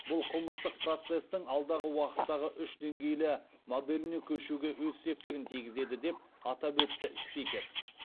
бұл қылмыстық процестің алдағы уақыттағы үш деңгейлі моделіне көшуге өз септігін тигізеді деп атап өтті спикер